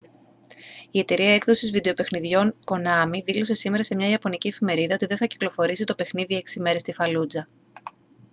η εταιρεία έκδοσης βιντεοπαιχνιδιών konami δήλωσε σήμερα σε μια ιαπωνική εφημερίδα ότι δεν θα κυκλοφορήσει το παιχνίδι έξι μέρες στην φαλούτζα